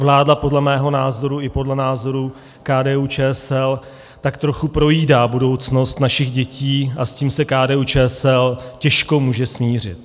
Vláda podle mého názoru, i podle názoru KDU-ČSL, tak trochu projídá budoucnost našich dětí a s tím se KDU-ČSL těžko může smířit.